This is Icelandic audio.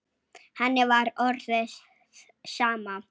Henni var orðið sama.